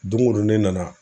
Doŋo don ne nana